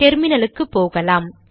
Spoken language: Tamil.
டெர்மினலுக்கு போகலாம்